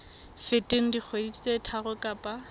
feteng dikgwedi tse tharo kapa